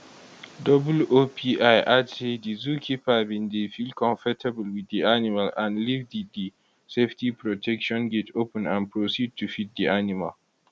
oopl add say di zookeeper bin dey feel comfortable wit di animal and leave di di safety protection gate open and proceed to feed di animal